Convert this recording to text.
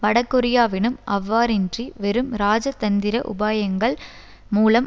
வடகொரியாவிடம் அவ்வாறின்றி வெறும் இராஜதந்திர உபாயங்கள் மூலம்